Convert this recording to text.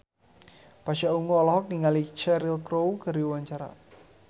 Pasha Ungu olohok ningali Cheryl Crow keur diwawancara